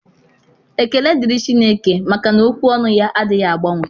Ekele dịrị Chineke, maka na ókwú ọnụ ya adịghị agbanwe.